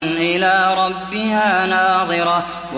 إِلَىٰ رَبِّهَا نَاظِرَةٌ